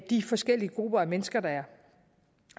de forskellige grupper af mennesker der er